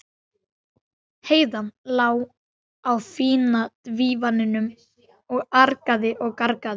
Heiða lá á fína dívaninum og argaði og gargaði.